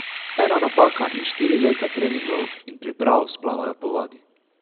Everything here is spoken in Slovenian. Ena napaka in štiri leta treningov in priprav splavajo po vodi.